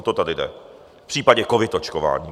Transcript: O to tady jde v případě covid očkování.